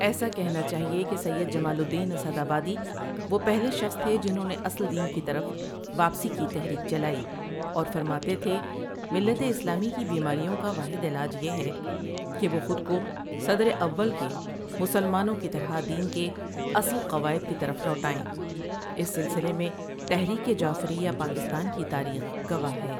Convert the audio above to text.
ایسا کہنا چاہیے کہ سید جمال الدین اسد آبادی وہ پہلے شخص تھے جنھوں نے اصل دین کی طرف واپسی کی تحریک چلائی اور فرماتے تھے ملت اسلامی کی بیماریوں کا واحد علاج یہ ہے کہ وہ خود کو صدر اول کے مسلمانوں کی طرح دین کے اصل قواعد کی طرف لوٹائیں اس سلسلے میں تحریک جعفریہ پاکستان کی تاریخ گواہ ہے۔